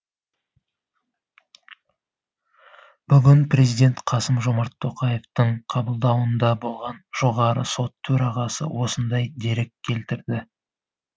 бүгін президент қасым жомарт тоқаевтың қабылдауында болған жоғары сот төрағасы осындай дерек келтірді